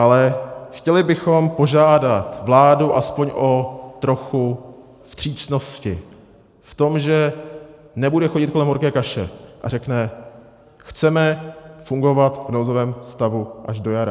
Ale chtěli bychom požádat vládu aspoň o trochu vstřícnosti v tom, že nebude chodit kolem horké kaše a řekne: chceme fungovat v nouzovém stavu až do jara.